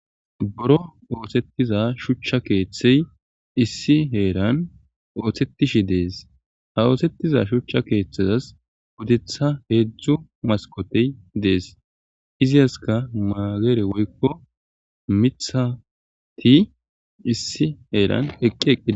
Boro oosettiza shuchcha keeththey issi heeran oothsettishi dees ha oosettiza shuchcha keeththezas gudetha heedzdzu maskotey dees iziyaska maageere woykko mithati issi heeran eqqe.